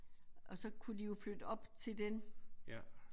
Og så kunne de jo flytte op til den